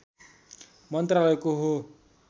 मन्त्रालयको हो